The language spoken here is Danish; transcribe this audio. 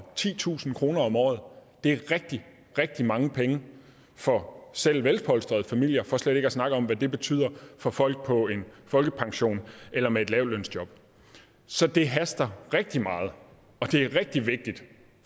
titusind kroner om året det er rigtig rigtig mange penge for selv velpolstrede familier for slet ikke at snakke om hvad det betyder for folk på en folkepension eller med et lavtlønsjob så det haster rigtig meget og det er rigtig vigtigt